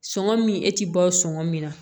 Sɔngɔ min e ti bɔ o sɔngɔ min na